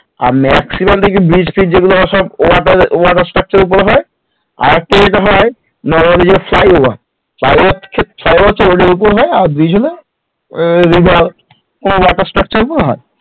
আর maximum দেখবি bridge fridge যেগুলো হয় সব water structure এর ওপরে হয় আর একটা যেটা হয় normally যে ফ্লাই অভার ফ্লাই অভার তো road এর ওপর হয় আর bridge হলে water structure এর ওপর হ